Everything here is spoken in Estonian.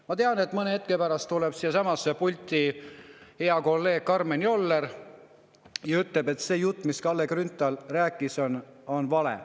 Ma tean, et mõne hetke pärast tuleb siia pulti hea kolleeg Karmen Joller ja ütleb, et see jutt, mida Kalle Grünthal rääkis, on vale.